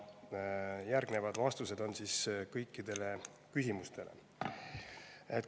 Järgnevad vastused on kõikidele küsimustele.